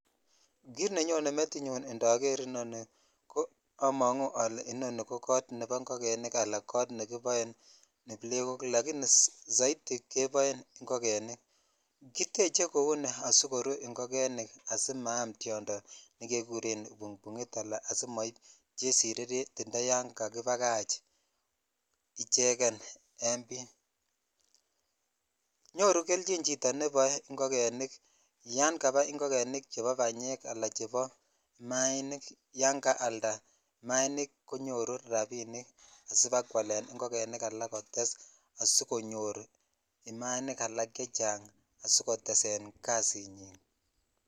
Kit nenyone metinyun indoor nii omongu ole inoni ko kot nebo ingogenik ala kot nekiboen iblekok soiti keboe ingogenik kitech kou ni asikoruu ingogenik asimaam tondo nekekuren kibukbukngit aka asimoib Cheshire retired imagining kakibakach icheken en bee nyoru kelchin chito nebo ingogenik yan kabai ingogenik chebo banyek ala chebo imainin yan kalda imainik konyoru rabinik chebakeolen igogenik alak ak asikotesak kasinyin.